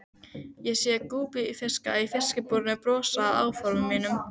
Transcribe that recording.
Ég sé að gúbbífiskarnir í fiskabúrinu brosa að áformum mínum.